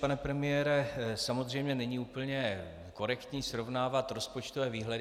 Pane premiére, samozřejmě není úplně korektní srovnávat rozpočtové výhledy.